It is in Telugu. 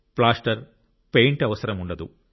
ప్లాస్టర్ పెయింట్ అవసరం ఉండదు